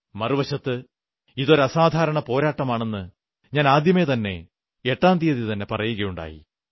മറുവശത്ത് ഇതൊരു അസാധാരണ പോരാട്ടമാണെന്ന് ഞാൻ ആദ്യമേതന്നെ എട്ടാം തീയതിതന്നെ പറയുകയുണ്ടായി